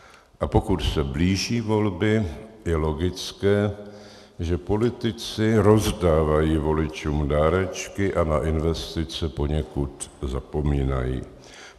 A pokud se blíží volby, je logické, že politici rozdávají voličům dárečky a na investice poněkud zapomínají.